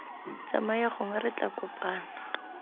tsamaya gongwe re tla kopana